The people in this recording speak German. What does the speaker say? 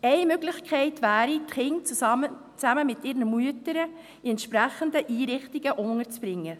– Eine Möglichkeit wäre, die Kinder zusammen mit ihren Müttern in entsprechenden Einrichtungen unterzubringen.